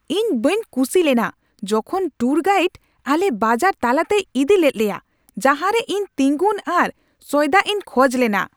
ᱤᱧ ᱵᱟᱹᱧ ᱠᱩᱥᱤ ᱞᱮᱱᱟ ᱡᱚᱠᱷᱚᱱ ᱴᱩᱨ ᱜᱟᱭᱤᱰ ᱟᱞᱮ ᱵᱟᱡᱟᱨ ᱛᱟᱞᱟᱛᱮᱭ ᱤᱫᱤ ᱞᱮᱫ ᱞᱮᱭᱟ ᱡᱟᱡᱟᱸ ᱨᱮ ᱤᱧ ᱛᱤᱸᱜᱩᱱ ᱟᱨ ᱥᱚᱭᱫᱟᱜ ᱤᱧ ᱠᱷᱚᱡ ᱞᱮᱱᱟ ᱾